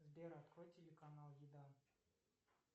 сбер открой телеканал еда